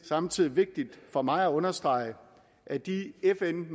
samtidig vigtigt for mig at understrege at de fn